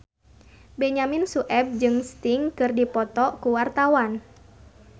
Benyamin Sueb jeung Sting keur dipoto ku wartawan